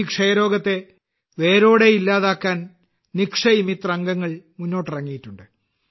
ഈ ക്ഷയരോഗത്തെ വേരോടെ ഇല്ലാതാക്കാൻ നിക്ഷയ് മിത്ര് അംഗങ്ങൾ മുന്നിട്ടിറങ്ങിയിട്ടുണ്ട്